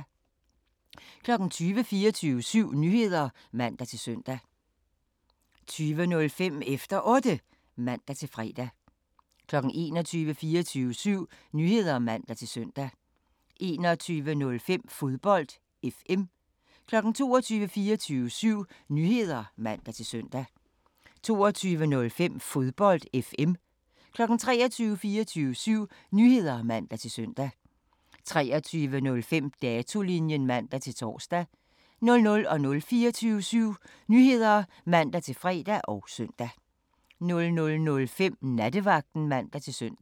20:00: 24syv Nyheder (man-søn) 20:05: Efter Otte (man-fre) 21:00: 24syv Nyheder (man-søn) 21:05: Fodbold FM 22:00: 24syv Nyheder (man-søn) 22:05: Fodbold FM 23:00: 24syv Nyheder (man-søn) 23:05: Datolinjen (man-tor) 00:00: 24syv Nyheder (man-fre og søn) 00:05: Nattevagten (man-søn)